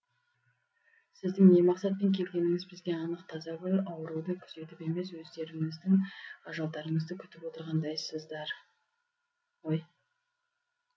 сіздің не мақсатпен келгеніңіз бізге анық тазагүл ауруды күзетіп емес өздеріңіздің ажалдарыңызды күтіп отырғандайсыздар ғой